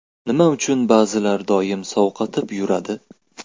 Nima uchun ba’zilar doim sovqotib yuradi?.